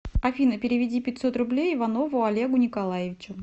афина переведи пятьсот рублей иванову олегу николаевичу